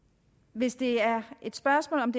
hvis det er spørgsmålet